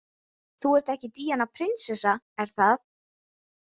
Þú ert ekki Díana prinsessa, er það?